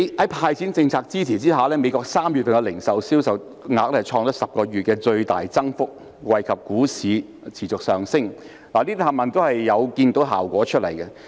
在"派錢"政策支持之下，美國3月的零售銷售額創10個月的最大增幅，惠及股市持續上升，這些全部也是看到效果的。